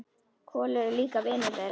Kolur er líka vinur þeirra.